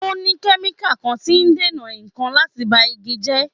O ní kẹ́míkà kan tí ń dènà ìkan láti ba igi jẹ́.